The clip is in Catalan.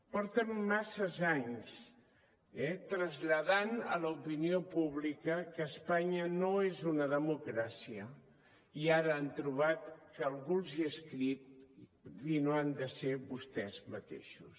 porten masses anys traslladant a l’opinió pública que espanya no és una democràcia i ara han trobat que algú els hi ha escrit i no han de ser vostès mateixos